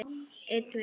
Þeir geta synt.